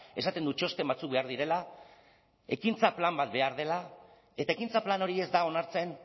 esaten du txosten batzuk behar direla ekintza plan bat behar dela eta ekintza plan hori ez da onartzen